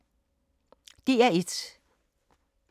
DR1